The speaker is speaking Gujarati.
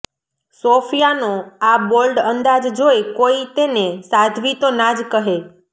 સોફિયાનો આ બોલ્ડ અંદાજ જોઇ કોઇ તેને સાધ્વી તો ના જ કહે